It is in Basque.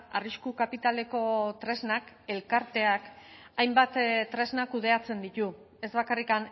arrisku kapitaleko tresnak elkarteak hainbat tresna kudeatzen ditu ez bakarrik